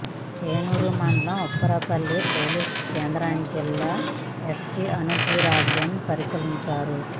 చెన్నూరు మండలం Upparapalli polling కేంద్రాన్ని జిల్లా ఎస్పీ అన్బురాజన్ పరిశీలించారు